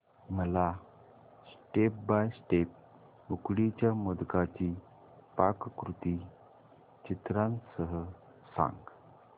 मला step by step उकडीच्या मोदकांची पाककृती चित्रांसह सांग